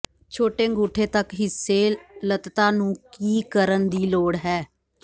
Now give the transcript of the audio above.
ਛੋਟੇ ਅੰਗੂਠੇ ਤੱਕ ਹਿੱਸੇ ਲਤ੍ਤਾ ਨੂੰ ਕੀ ਕਰਨ ਦੀ ਲੋੜ ਹੈ